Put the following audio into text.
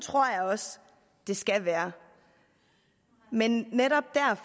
tror jeg også det skal være men